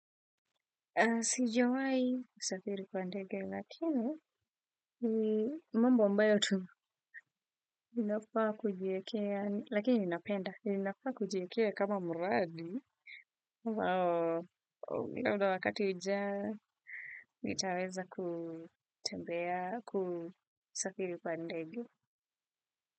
Sijawai kusafiri kwa ndege, lakini ni mambo ambayo tuna. Ninafaa kujiekea, lakini ninapenda. Ninafaa kujiekea kama mradi. Wao, mi naona wakati ujao, nitaweza kutembea kusafiri kwa ndege.